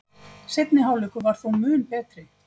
Seinni hálfleikur var þó mun betri